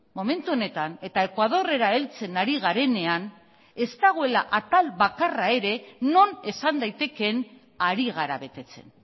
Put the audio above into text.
momentu honetan eta ekuadorrera heltzen ari garenean ez dagoela atal bakarra ere non esan daitekeen ari gara betetzen